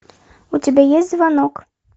у тебя есть звонок